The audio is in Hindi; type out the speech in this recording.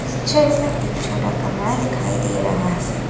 छवि में एक छोटा कमरा दिखाई दे रहा है।